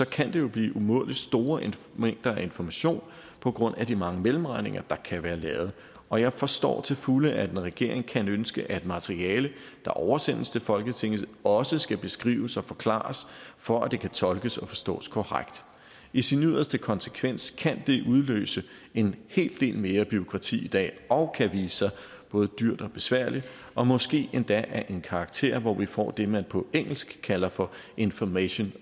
kan det jo blive umådelig store mængder af information på grund af de mange mellemregninger der kan være lavet og jeg forstår til fulde at en regering kan ønske at materiale der oversendes til folketinget også skal beskrives og forklares for at det kan tolkes og forstås korrekt i sin yderste konsekvens kan det udløse en hel del mere bureaukrati i dag og kan vise sig både dyrt og besværligt og måske endda af en karakter hvor vi får det man på engelsk kalder for information